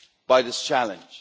by this challenge.